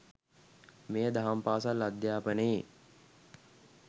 මෙය දහම් පාසල් අධ්‍යාපනයේ